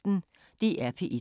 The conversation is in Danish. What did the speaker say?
DR P1